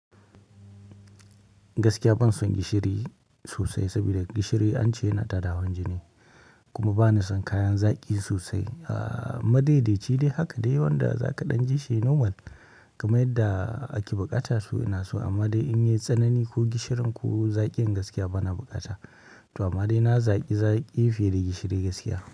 Gaskiya ban son gishiri sosai saboda gishiri an ce yana tada hawan jini kuma ba na son kayan zaƙi sosai. Madaidai, ci dai haka dai wanda za ka ɗan jishi norrmal kamar yadda ake buƙata su ina so amma dai in yayi tsanani ko gishirin ko zaƙin gaskiya bana bukata. To amma dai na zaƙi zaƙi fiye da gishiri gaskiya.